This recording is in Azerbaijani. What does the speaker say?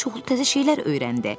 Pux çoxlu təzə şeylər öyrəndi.